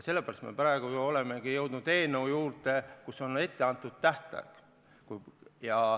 Sellepärast me praegu ju olemegi jõudnud eelnõu juurde, kus on ette antud tähtaeg.